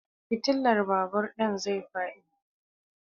Fitilan babur ɗin zai faɗi.